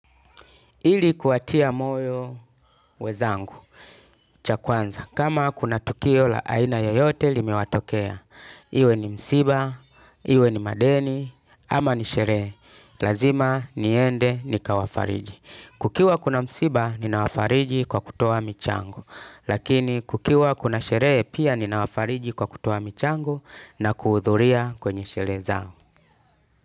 Ili kuwatia moyo wenzangu, cha kwanza, kama kuna tukio la aina yoyote limewatokea, iwe ni msiba, iwe ni madeni, ama ni sherehe, lazima niende nikawafariji. Kukiwa kuna msiba, ninawafariji kwa kutoa michango, lakini kukiwa kuna sherehe pia ninawafariji kwa kutoa michango na kuhudhuria kwenye sherehe zao.